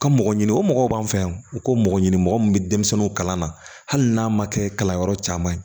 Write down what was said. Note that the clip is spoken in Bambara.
Ka mɔgɔ ɲini o mɔgɔw b'an fɛ yan u ko mɔgɔ ɲini mɔgɔ min bɛ denmisɛnninw kalan na hali n'a ma kɛ kalanyɔrɔ caman ye